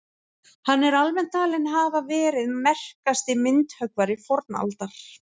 hann er almennt talinn hafa verið merkasti myndhöggvari fornaldar